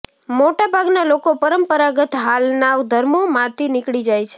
મોટા ભાગના લોકો પરંપરાગત હાલના ધર્મોમાંથી નીકળી જાય છે